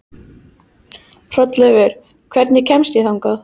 Hrolleifur, hvernig kemst ég þangað?